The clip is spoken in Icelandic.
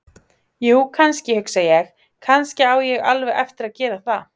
Jú, kannski, hugsa ég: Kannski á ég alveg eftir að gera það.